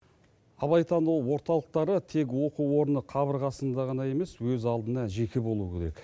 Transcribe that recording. абайтану орталықтары тек оқу орны қабырғасында ғана емес өз алдына жеке болуы керек